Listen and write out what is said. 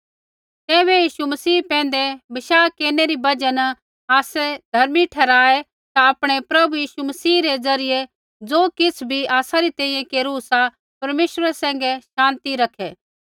तैबै यीशु मसीह पैंधै बशाह केरनै री बजहा न आसै धर्मी ठहराऐ ता आपणै प्रभु यीशु मसीह री ज़रियै ज़ो किछ़ बी आसा री तैंईंयैं केरू सा परमेश्वरा सैंघै शान्ति रखै